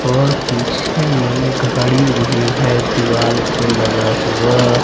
और पीछे में घड़ी भी है दीवार पे लगा हुआ --